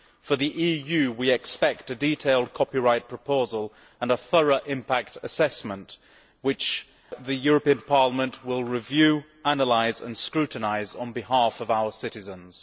For the EU, we expect a detailed copyright proposal and a thorough impact assessment which the European Parliament will review, analyse and scrutinise on behalf of our citizens.